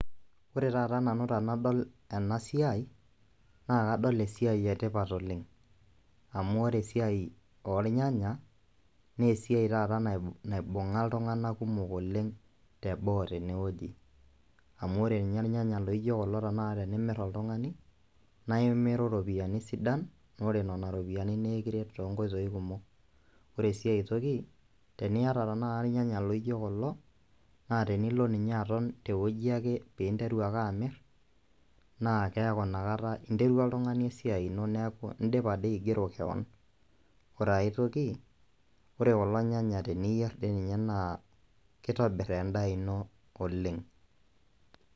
Ore taata nanu tenadol ena siai, naa kadol esiai etipat oleng',amu esiai oonyanya naa esiai taata naibunga iltunganak kumok teboo teneoji, amu ninye ilnyanya laijo kulo tanakata tenimir oltungani naimiru iropiyiani sidan, ore nena ropiyiani naa ekiret toonkoitoi kumok. Ore aitoki teniata tanakata ilnyanya laijo kulo naa tenilo ninye aton teoji peeinteru ake amir naa keaku nakata interua oltungani esiai ino neeku oltungani dii aigero kewon. Ore aitoki ore kulo nyanya teniyeir dii ninye naa kitobir endaa ino oleng'.